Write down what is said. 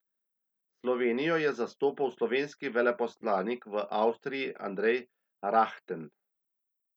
Slovenijo je zastopal slovenski veleposlanik v Avstriji Andrej Rahten.